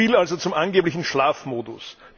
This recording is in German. Soviel also zum angeblichen Schlafmodus.